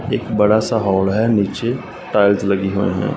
एक बड़ा सा हॉल है नीचे टाइल्स लगी हुए हैं।